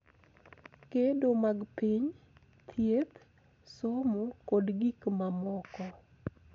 Gedo mag piny, thieth, somo, kod gik mamoko